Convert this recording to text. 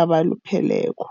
abalupheleko.